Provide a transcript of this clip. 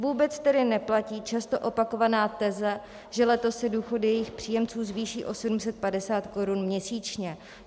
Vůbec tedy neplatí často opakovaná teze, že letos se důchody jejich příjemců zvýší o 750 korun měsíčně.